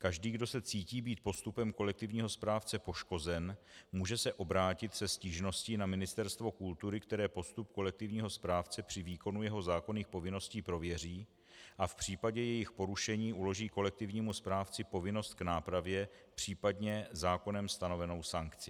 Každý, kdo se cítí být postupem kolektivního správce poškozen, může se obrátit se stížností na Ministerstvo kultury, které postup kolektivního správce při výkonu jeho zákonných povinností prověří a v případě jejich porušení uloží kolektivnímu správci povinnost k nápravě, případně zákonem stanovenou sankci.